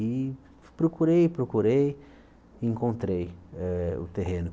E procurei, procurei, encontrei eh o terreno.